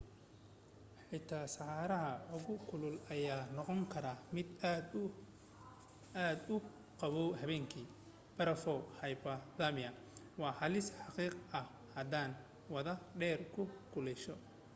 xataa saxaraha ugu kulul ayaa noqon karaa mid aad iyo aad u qaboow habeenki. barafow hypothermia waa halis xaqiiq ah hadaadan wadan dhar ku kululeeya